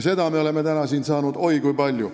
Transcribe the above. Seda me oleme täna siin kuulda saanud oi kui palju.